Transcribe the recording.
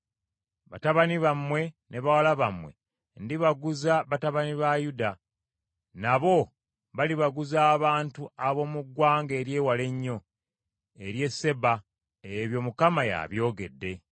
Batabani bammwe ne bawala bammwe ndibaguza batabani ba Yuda, nabo balibaguza abantu ab’omu ggwanga ery’ewala ennyo, ery’e Seba.” Ebyo Mukama y’abyogedde.